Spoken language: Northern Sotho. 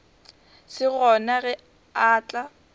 se gona ge a tla